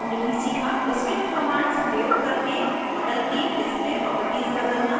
* script commands प्रयोग करके model की display properties बदलना और